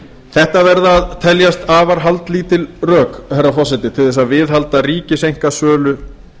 þetta verða að teljast afar haldlítil rök til þess að viðhalda ríkiseinkasölu